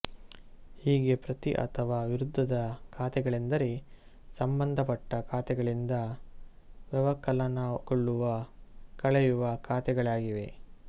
ಹೀಗೆ ಪ್ರತಿ ಅಥವಾ ವಿರುದ್ದದ ಖಾತೆಗಳೆಂದರೆ ಸಂಬಂಧಪಟ್ಟ ಖಾತೆಗಳಿಂದ ವ್ಯವಕಲನಗೊಳ್ಳುವ ಕಳೆಯುವ ಖಾತೆಯಾಗಿವೆ